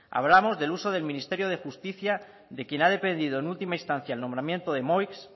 hablamos del uso del ministerio de justicia de quien ha dependido en última instancia el nombramiento de moix